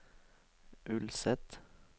Ulset